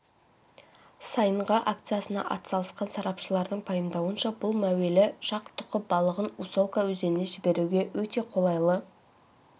сайынғы акциясына атсалысқан сарапшылардың пайымдауынша бұл мәуелі шақ тұқы балығын усолка өзеніне жіберуге өте қолайлы